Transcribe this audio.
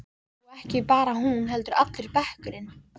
Og ekki bara hún heldur allur bekkurinn.